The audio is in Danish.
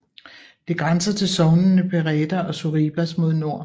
Det grænser til sognene Pereda og Sorribas mod nord